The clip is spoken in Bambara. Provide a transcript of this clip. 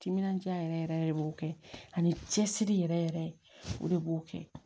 Timinandiya yɛrɛ yɛrɛ de b'o kɛ ani cɛsiri yɛrɛ yɛrɛ o de b'o kɛ